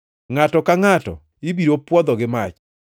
Ngʼato ka ngʼato ibiro pwodho gi mach.